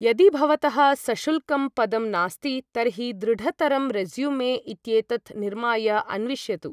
यदि भवतः सशुल्कं पदं नास्ति तर्हि दृढतरं रेज़्यूमे इत्येतत् निर्माय अन्विष्यतु।